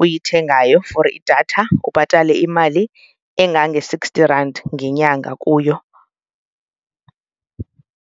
uyithengayo for idatha ubhatale imali engange-sixty rand ngenyanga kuyo.